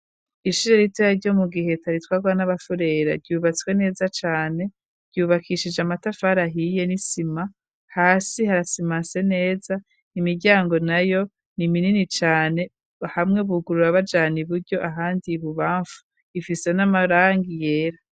Ishure ritoya ryo mu Giheta ritwarwa n'abafurera, ryubatswe neza cane. Ryubakishije amatafari ahiye n'isima, hasi harasimanse neza, imiryango nayo niminini cane, hamwe bugurura bajana iburyo ahandi ibubamfu, ifise n'amarangi yera.